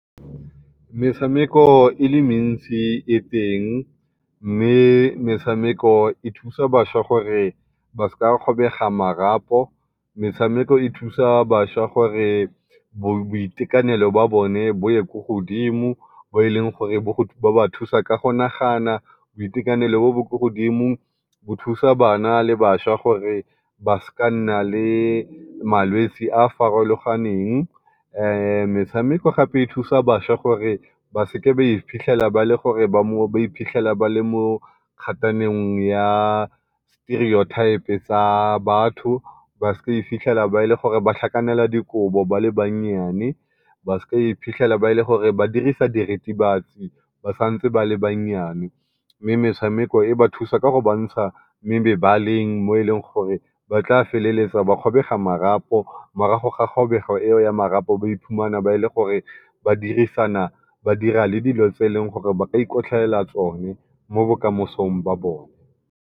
Metshameko e le mentsi e teng, mme metshameko e thusa bašwa gore ba sa kgobega marapo. Metshameko e thusa bašwa gore boitekanelo jwa bone bo ye ko godimo bo e leng gore bo ba thusa ka go nagana. Boitekanelo jo bo ko godimo bo thusa bašwa le bana gore ba seke ba nna ke malwetsi a a farologaneng. metshameko gape e thusa bašwa gore ba seke ba iphitlhela ba le mo ya stereotype ya tsa batho, ba seke ba iphithela e le gore ba tlhakanela dikobo ba le bannyane, ba seke ba iphitlhela e le gore ba santse ba dirisa diritibatsi ba sa ntse le banyane. Mme metshameko e ba thusa ka go ba ntsha mo mebaleng mo e leng gore ba tla feleletsa ba kgobega marapo, morago ga kgobego eo ya marapo ba ba iphumana ba ba dira le dilo tse e leng gore ba ka ikotlhaela tsone mo bokamosong jwa bone.